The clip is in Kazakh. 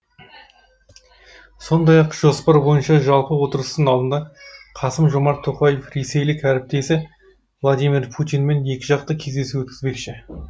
сондай ақ жоспар бойынша жалпы отырыстың алдында қасым жомарт тоқаев ресейлік әріптесі владимир путинмен екіжақты кездесу өткізбекші